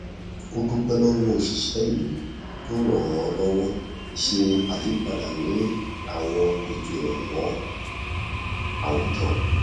ó dúpẹ lọwọ òṣìṣẹ ìlú tó ràn án lọwọ ṣe àyípadà ní àwọn ètò ìrànwọ àwùjọ